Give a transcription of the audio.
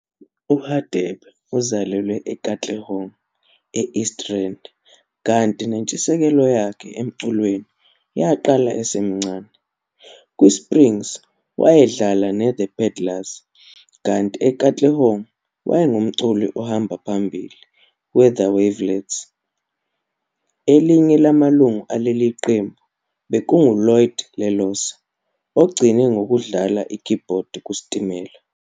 URadebe uzalelwe eKatlehong e-East Rand kanti nentshisekelo yakhe emculweni yaqala esemncane. KwiSprings wayedlala neThe Peddlars kanti eKatlehong wayengumculi ohamba phambili weThe Weavelets. Elinye lamalungu aleli qembu bekunguLloyd Lelosa, ogcine ngokudlala ikhibhodi kuStimela.